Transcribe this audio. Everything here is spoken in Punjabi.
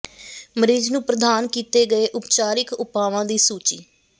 ਮਰੀਜ਼ ਨੂੰ ਪ੍ਰਦਾਨ ਕੀਤੇ ਗਏ ਉਪਚਾਰਿਕ ਉਪਾਵਾਂ ਦੀ ਸੂਚੀ